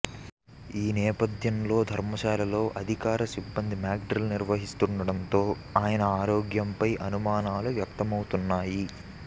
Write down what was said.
ఈ నేపథ్యంలో ధర్మశాలలో అధికార సిబ్బంది మాక్డ్రిల్ నిర్వహిస్తుండడంతో ఆయన ఆరోగ్యంపై అనుమానాలు వ్యక్తమవుతున్నాయి